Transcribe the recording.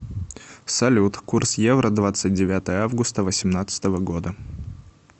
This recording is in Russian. салют курс евро двадцать девятое августа восемнадцатого года